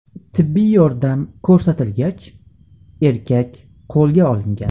Tibbiy yordam ko‘rsatilgach, erkak qo‘lga olingan.